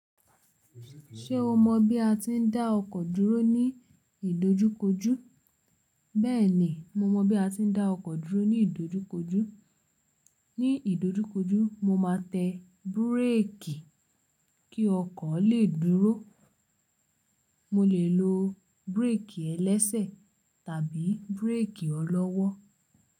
Ṣé o mọ̀ bí a ti ń dá ọkọ̀ dúró ní ìdojúkojú? Bẹ́ẹ̀ni, mo mọ̀ bí a tí ń dá ọkọ̀ dúró ní ìdojúkojú. Ní ìdojúkojú, mo máa tẹ búrékì kí ọkọ̀ lè dúró. Mo lè lo búrékì ẹlẹ́sẹ̀ tàbí búrékì ọlọ́wọ́.